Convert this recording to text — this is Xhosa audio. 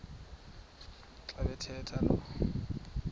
xa bathetha lo